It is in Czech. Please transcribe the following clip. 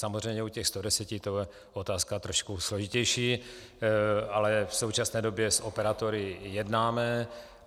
Samozřejmě u těch 100 to bude otázka trochu složitější, ale v současné době s operátory jednáme.